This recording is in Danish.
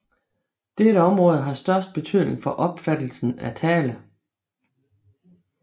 Dette område har størst betydning for opfattelsen af tale